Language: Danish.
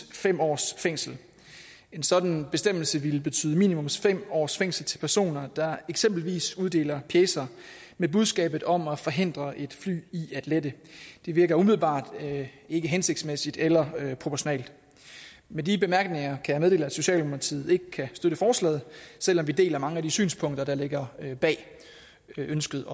fem års fængsel en sådan bestemmelse ville betyde minimum fem års fængsel til personer der eksempelvis uddeler pjecer med budskabet om at forhindre et fly i at lette det virker umiddelbart ikke hensigtsmæssigt eller proportionalt med de bemærkninger kan jeg meddele at socialdemokratiet ikke kan støtte forslaget selv om vi deler mange af de synspunkter der ligger bag ønsket